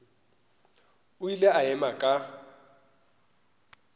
o ile a ema ka